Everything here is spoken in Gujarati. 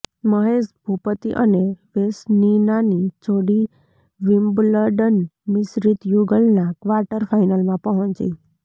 મહેશ ભૂપતિ અને વેસનીનાની જોડી વિમ્બલડન મિશ્રિત યુગલના ક્વાર્ટર ફાઈનલમાં પહોંચી